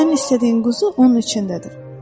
Sənin istədiyin quzu onun içindədir.